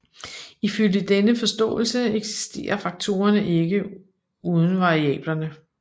Ifølge denne forståelse eksisterer faktorerne ikke uden variablerne